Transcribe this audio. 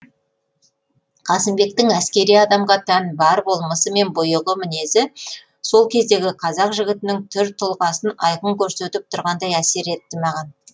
қасымбектің әскери адамға тән бар болмысы мен бұйығы мінезі сол кездегі қазақ жігітінің түр тұлғасын айқын көрсетіп тұрғандай әсер етті маған